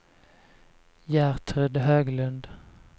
Gertrud Höglund